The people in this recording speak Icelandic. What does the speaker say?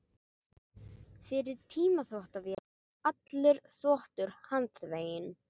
Fyrir tíma þvottavéla var allur þvottur handþveginn.